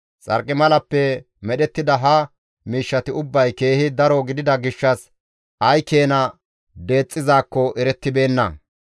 Xarqimalappe medhettida ha miishshati ubbay keehi daro gidida gishshas ay keena deexxizaakko erettibeenna.